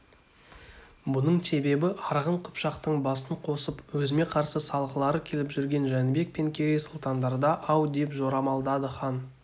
бұның себебі арғын қыпшақтың басын қосып өзіме қарсы салғылары келіп жүрген жәнібек пен керей сұлтандарда-ау деп жорамалдады хан